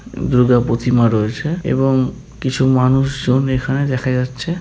দুর্গা প্রতিমা রয়েছে এবং কিছু মানুষজন এখানে দেখা যাচ্ছে।